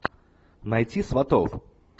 найти сватов